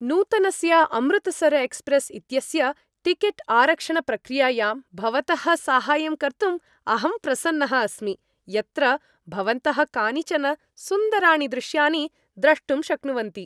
नूतनस्य अमृतसर् एक्स्प्रेस् इत्यस्य टिकेट् आरक्षणप्रक्रियायां भवतः साहाय्यं कर्तुम् अहं प्रसन्नः अस्मि, यत्र भवन्तः कानिचन सुन्दराणि दृश्यानि द्रष्टुं शक्नुवन्ति।